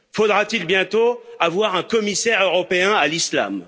Faudra t il bientôt avoir un commissaire européen à l'Islam?